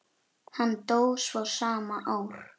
Hann dó svo sama ár.